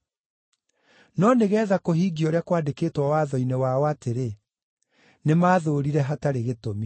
No nĩgeetha kũhingio ũrĩa kwandĩkĩtwo Watho-inĩ wao atĩrĩ, ‘Nĩmathũũrire hatarĩ gĩtũmi.’